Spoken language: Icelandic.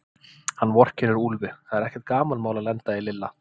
Hann vorkennir Úlfi, það er ekkert gamanmál að lenda í Lilla.